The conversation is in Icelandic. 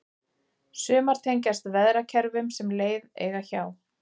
sumar tengjast veðrakerfum sem leið eiga hjá